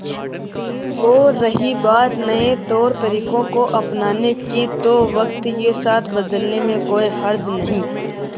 और रही बात नए तौरतरीकों को अपनाने की तो वक्त के साथ बदलने में कोई हर्ज नहीं